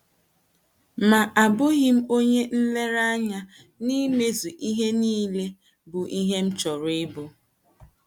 Ma abụghị m onye nlereanya n’imezu ihe nile, bụ́ ihe m chọrọ ịbụ. ”